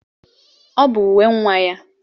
Ọ bụ uwe nwa ya.